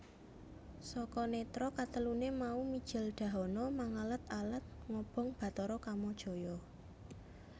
Saka nètra kateluné mau mijil dahana mangalad alad ngobong Bathara Kamajaya